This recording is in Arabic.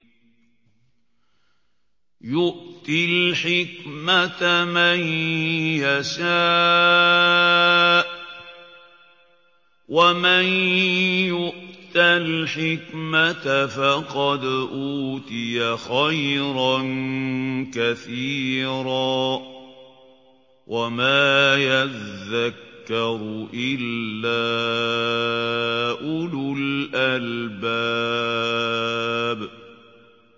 يُؤْتِي الْحِكْمَةَ مَن يَشَاءُ ۚ وَمَن يُؤْتَ الْحِكْمَةَ فَقَدْ أُوتِيَ خَيْرًا كَثِيرًا ۗ وَمَا يَذَّكَّرُ إِلَّا أُولُو الْأَلْبَابِ